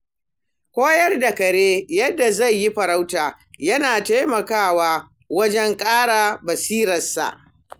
Koyar da kare yadda zai yi farauta yana taimakawa wajen ƙara basirarsa.